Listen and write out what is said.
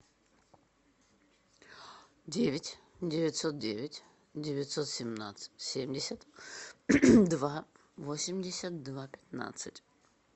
девять девятьсот девять девятьсот семнадцать семьдесят два восемьдесят два пятнадцать